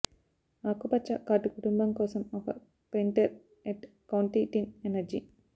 ఆకుపచ్చ కార్డు కుటుంబం కోసం ఒక పెన్టెర్ ఎట్ కౌంటి టీన్ ఎనర్జీ